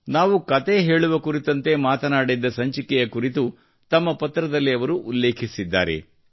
ನಾವು ಕತೆ ಹೇಳುವ ಕುರಿತಂತೆ ಮಾತನಾಡಿದ್ದ ಸಂಚಿಕೆಯ ಕುರಿತು ತಮ್ಮ ಪತ್ರದಲ್ಲಿ ಅವರು ಉಲ್ಲೇಖಿಸಿದ್ದಾರೆ